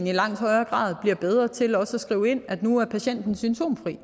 i langt højere grad bliver bedre til også at skrive ind at nu er patienten symptomfri